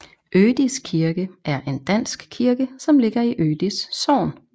Ødis kirke er en dansk kirke som ligger i Ødis Sogn